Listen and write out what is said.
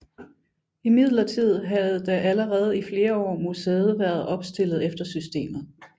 Imidlertid havde da allerede i flere år museet været opstillet efter systemet